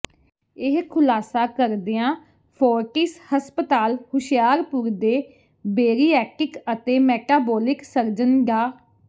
ਇਹ ਖੁਲਾਸਾ ਕਰਦਿਆਂ ਫੋਰਟਿਸ ਹਸਪਤਾਲ ਹੁਸ਼ਿਆਰਪੁਰ ਦੇ ਬੇਰੀਐਟਿ੍ਕ ਅਤੇ ਮੈਟਾਬੋਲਿਕ ਸਰਜਨ ਡਾ